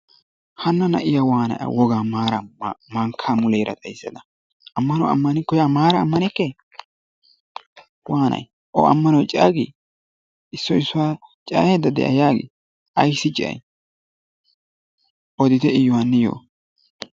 Hana na'iyaa wanay maaraa mankkaa ba muleera xayssada ammanuwaa ammaniko yaa maara amaneke wanii o ammanoy cayya gii? issoy issuwaa cayayida de'a yaagii? Ayssi cayay oditte iyoo haaniyoo!